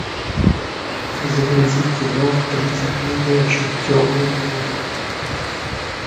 загрузи кино тридцать дней ночи темные дни